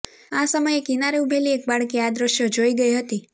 આ સમયે કિનારે ઉભેલી એક બાળકી આ દ્રશ્યો જોઇ ગઇ હતી